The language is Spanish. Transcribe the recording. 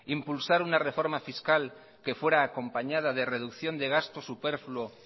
impulsar una reforma fiscal que fuera acompañada de reducción de gastos superfluo